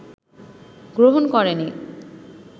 গ্রহণ করে নি